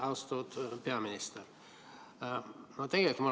Austatud peaminister!